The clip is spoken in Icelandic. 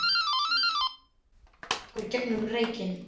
Hún starði á okkur gegnum reykinn.